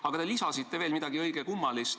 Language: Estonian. Aga te lisasite veel midagi õige kummalist.